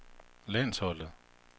landsholdet